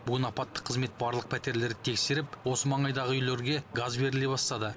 бүгін апаттық қызмет барлық пәтерлерді тексеріп осы маңайдағы үйлерге газ беріле бастады